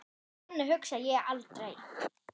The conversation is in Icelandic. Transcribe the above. Þannig hugsa ég aldrei.